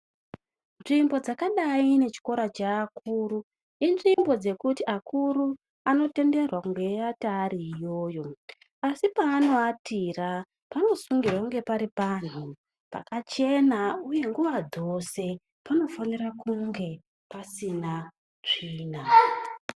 Nzvimbo dzakadai ngechikora chevakuru, inzvimbo dzekuti akuru anotenderwa kunge eyiata ari iyoyo asi peanoatira panosungirwa kunge pari panhu pakachena, uye nguva dzose panofanirwa kunge pasina tsvina.